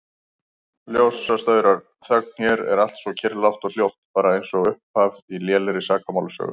Ljósastaurar, þögn, hér er allt svo kyrrlátt og hljótt, bara einsog upphaf á lélegri sakamálasögu.